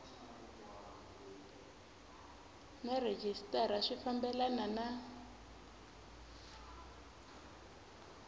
na rhejisitara swi fambelena na